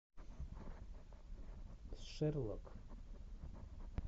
шерлок